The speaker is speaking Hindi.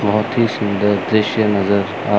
बहुत ही सुंदर दृश्य नजर आ--